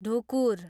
ढुकुर